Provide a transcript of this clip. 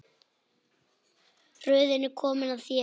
Röðin er komin að þér.